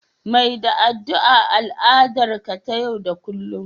Mai da addu'a al'adar ka ta yau da kullun